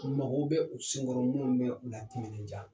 U mago bɛ u sen kɔrɔ minnu bɛ o latiminɛdiya.